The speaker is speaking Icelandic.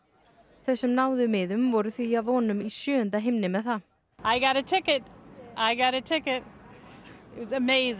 þau sem náðu miðum voru því að vonum í sjöunda himni með það